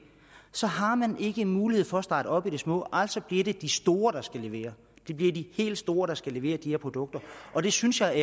så har man ikke en mulighed for at starte op i det små altså bliver det de store der skal levere det bliver de helt store der skal levere de her produkter og det synes jeg er